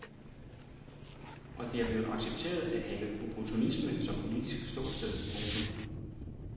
Og det er blevet accepteret at have opportunisme som politisk ståsted. punktum